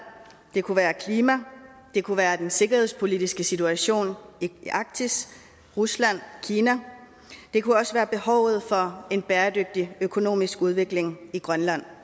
det kunne være klima det kunne være den sikkerhedspolitiske situation i arktis rusland kina det kunne også være behovet for en bæredygtig økonomisk udvikling i grønland